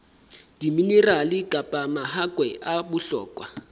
diminerale kapa mahakwe a bohlokwa